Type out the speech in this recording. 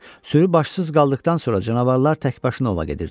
Sürü başsız qaldıqdan sonra canavarlar təkbaşına ova gedirdilər.